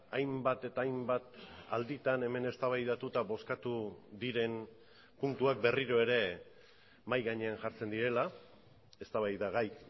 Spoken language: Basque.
hainbat eta hainbat alditan hemen eztabaidatuta bozkatu diren puntuak berriro ere mahai gainean jartzen direla eztabaida gai